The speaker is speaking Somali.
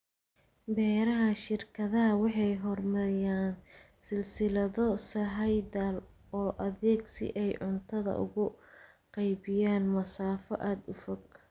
Beeraha shirkadaha waxay horumariyaan silsilado sahayda oo adag si ay cuntada ugu qaybiyaan masaafo aad u fog.